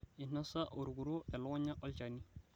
Einosa orkuro elekunya olchani